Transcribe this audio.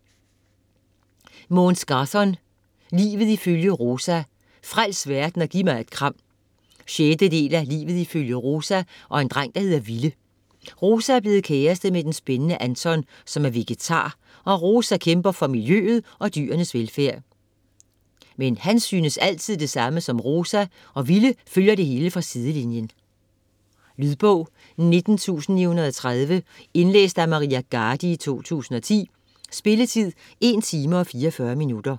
Gahrton, Måns: Livet ifølge Rosa - frels verden og giv mig et kram 6. del af Livet ifølge Rosa og en dreng der hedder Ville. Rosa er blevet kæreste med den spændende Anton, som er vegetar som Rosa og kæmper for miljøet og dyrenes velfærd. Men han synes altid det samme som Rosa, og Ville følger det hele fra sidelinjen. Lydbog 19930 Indlæst af Maria Garde, 2010. Spilletid: 1 timer, 44 minutter.